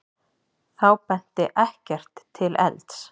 Þá benti ekkert til elds.